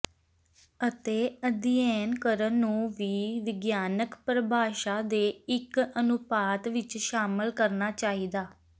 ਅਤੇ ਅਧਿਐਨ ਕਰਨ ਨੂੰ ਵੀ ਵਿਗਿਆਨਕ ਪ੍ਰਭਾਸ਼ਾ ਦੇ ਇੱਕ ਅਨੁਪਾਤ ਵਿੱਚ ਸ਼ਾਮਿਲ ਕਰਨਾ ਚਾਹੀਦਾ